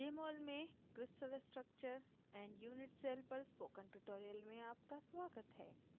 jmol में crystal structure and unit cell पर spoken tutorial में आपका स्वागत है